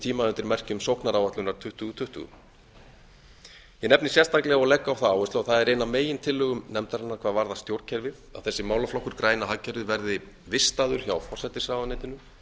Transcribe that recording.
tíma undir merkjum sóknaráætlunar tvö þúsund tuttugu ég nefni sérstaklega og legg á það áherslu og það er ein af megintillögum nefndarinnar hvað varðar stjórnkerfið að þessi málaflokkur græna hagkerfið verði vistaður hjá forsætisráðuneytinu